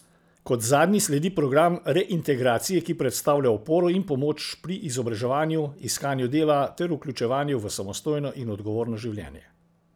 Kot zadnji sledi program reintegracije, ki predstavlja oporo in pomoč pri izobraževanju, iskanju dela ter vključevanju v samostojno in odgovorno življenje.